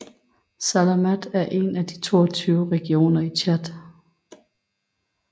Salamat er en af de 22 regioner i Tchad